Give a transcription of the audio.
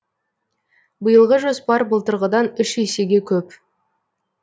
биылғы жоспар былтырғыдан үш есеге көп